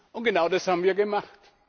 Und genau das haben wir gemacht.